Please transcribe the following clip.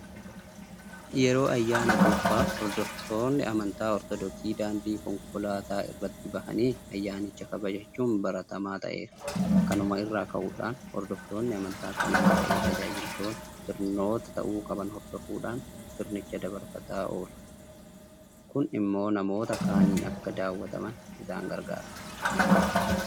Yeroo ayyaana cuuphaa hordoftoonni amantaa Ortodoksii daandii konkolaataa irratti bahanii ayyaanicha kabajachuun baratamaa ta'eera. Kanuma irraa ka'uudhaan hordoftoonni amantaa kanaas ta'e tajaajiltoonni sirnoota ta'uu qaban hordofuudhaan sirnicha dabarfataa oolu. Kun immoo namoota kaaniin akka daawwataman isaan gargaareera.